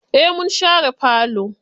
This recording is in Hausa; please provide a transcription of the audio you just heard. Eh mun share falo.